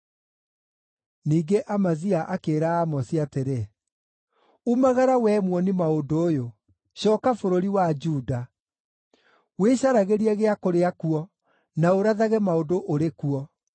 Ningĩ Amazia akĩĩra Amosi atĩrĩ, “Umagara wee muoni-maũndũ ũyũ! Cooka bũrũri wa Juda. Wĩcaragĩrie gĩa kũrĩa kuo, na ũrathage maũndũ ũrĩ kuo.